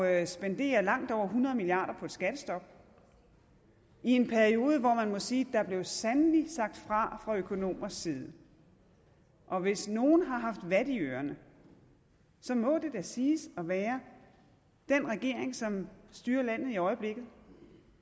at spendere langt over hundrede milliard kroner på et skattestop i en periode hvor man må sige at der sandelig sagt fra fra økonomers side og hvis nogen har haft vat i ørerne så må det da siges at være den regering som styrer landet i øjeblikket